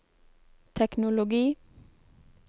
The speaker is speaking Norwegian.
teknologi